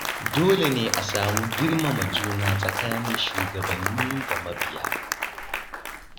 Dole ne a samu girmama juna tsakanin shugabanni da mabiya.